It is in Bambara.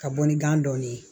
Ka bɔ ni gan dɔɔni ye